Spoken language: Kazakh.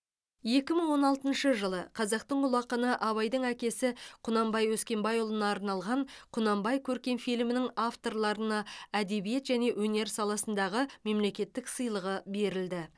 екі мың он алтыншы жылы қазақтың ұлы ақыны абайдың әкесі құнанбай өскенбайұлына арналған құнанбай көркем фильмінің авторларына әдебиет және өнер саласындағы мемлекеттік сыйлығы берілді